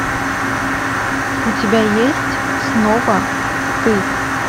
у тебя есть снова ты